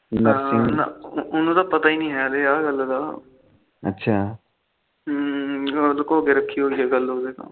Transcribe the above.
ਉਹਨੂੰ ਤਾ ਪਤਾ ਨੀ ਹੈ ਆਹ ਗੱਲ ਦਾ ਅੱਛਾ ਲਕੋ ਕੇ ਰੱਖੀ ਹੋਈ ਆ ਗੱਲ਼ ਉਹਦੇ ਤੋ